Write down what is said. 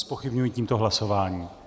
Zpochybňuji tímto hlasování.